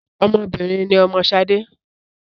Ọmọ obìnrin ni ọmọ Ṣadé